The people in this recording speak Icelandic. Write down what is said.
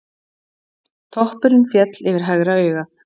Toppurinn féll yfir hægra augað.